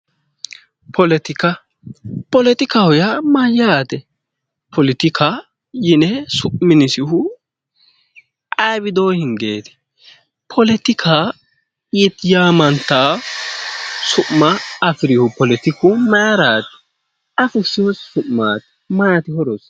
Politika, poletika yaa mayate ? Politika yinne su'minisihu ayee widooni hingeti ? Politika yaamantano su'ma afirihu politiku mayrati? Ayi fushino su'mati ? Maati horosi ?